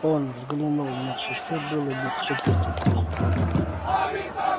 он взглянул на часы было без четверти три